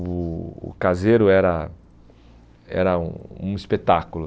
O o caseiro era era um um espetáculo.